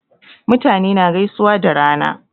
Mutane na gaisuwa da rana